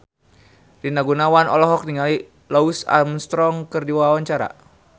Rina Gunawan olohok ningali Louis Armstrong keur diwawancara